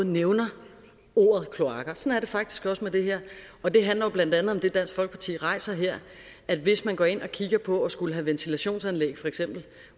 nævner ordet kloakker sådan er det faktisk også med det her det handler jo blandt andet om det dansk folkeparti rejser her at hvis man går ind og kigger på for eksempel at skulle have ventilationsanlæg